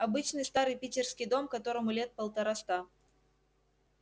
обычный старый питерский дом которому лет полтораста